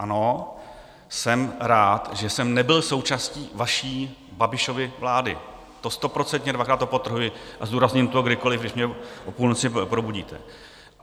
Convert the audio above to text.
Ano, jsem rád, že jsem nebyl součástí vaší Babišovy vlády, to stoprocentně, dvakrát podtrhuji, a zdůrazním to kdykoli, když mě o půlnoci probudíte.